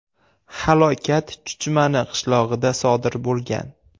Halokat Chuchmani qishlog‘ida sodir bo‘lgan.